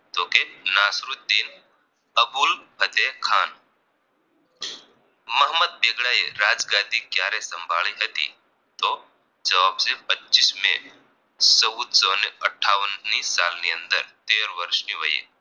અબુલ હજે ખાન મોહમ્મદ બેગડાએ રાજગાદી ક્યારે સંભાળી હતી તો જવાબ છે પચીસ મેં ચૌદસો ને અઠાવનની સાલ ની અંદર તેર વર્ષની વયે